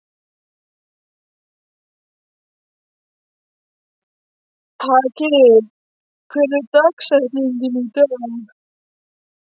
Haki, hver er dagsetningin í dag?